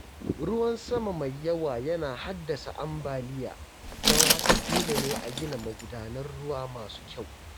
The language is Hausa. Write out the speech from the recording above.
Ruwan sama mai yawa yana haddasa ambaliya, don haka dole ne a gina magudanan ruwa masu kyau.